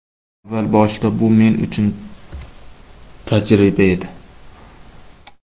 Avval boshida bu men uchun tajriba edi.